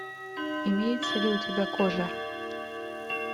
имеется ли у тебя кожа